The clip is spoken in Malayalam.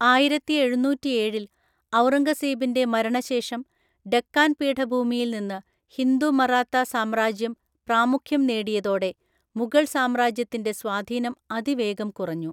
ആയിരത്തിഎഴുന്നൂറ്റിഏഴിൽ ഔറംഗസേബിൻ്റെ മരണശേഷം ഡെക്കാൻ പീഠഭൂമിയിൽ നിന്ന് ഹിന്ദു മറാത്ത സാമ്രാജ്യം പ്രാമുഖ്യം നേടിയതോടെ മുഗൾ സാമ്രാജ്യത്തിൻ്റെ സ്വാധീനം അതിവേഗം കുറഞ്ഞു.